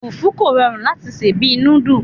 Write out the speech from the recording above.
Fùfú kò rọrùn láti sè bí i núdù.